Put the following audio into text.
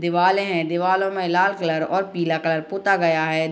दीवाले हैं दीवालो में लाल कलर और पीला कलर पोता गया है।